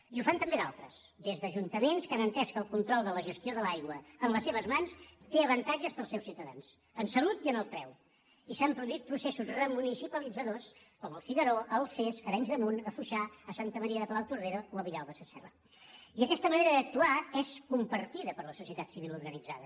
i ho fan també d’altres des d’ajuntaments que han entès que el control de la gestió de l’aigua en les seves mans té avantatges per als seus ciutadans en salut i en el preu i s’han produït processos remunicipalitzadors com al figaró a alfés a arenys de munt a foixà a santa maria de palautordera o villalba sasserra i aquesta manera d’actuar és compartida per la societat civil organitzada